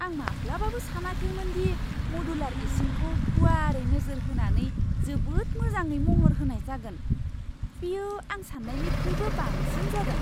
आं माब्लाबाबो सानाखैमोन दि मदुलार इसिंखौ गुवारै नोजोर होनानै जोबोद मोजाङै महर होनाय जागोन। बेयो आं सान्नायनिख्रुइबो बांसिन जादों!